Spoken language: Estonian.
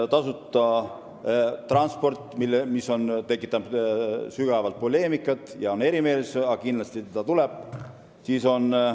Tasuta transport tekitab sügavat poleemikat, siin on erimeelsusi, aga see kindlasti tuleb.